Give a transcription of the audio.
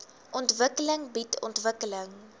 ontwikkeling bied ontwikkeling